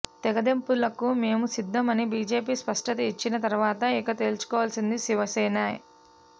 తెగదెంపులకు మేం సిద్ధం అని బీజేపీ స్పష్టత ఇచ్చిన తరువాత ఇక తేల్చుకోవలసింది శివసేనే